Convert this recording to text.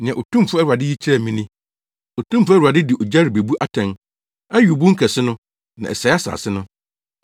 Nea Otumfo Awurade yi kyerɛɛ me ni: Otumfo Awurade de ogya rebebu atɛn; ɛyow bun kɛse no, na ɛsɛee asase no.